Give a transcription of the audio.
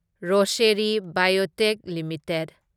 Rosary biotech limited